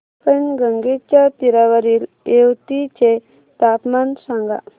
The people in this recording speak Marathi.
पैनगंगेच्या तीरावरील येवती चे तापमान सांगा